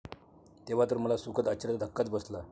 तेव्हा तर मला सुखद आश्चर्याचा धक्काच बसला.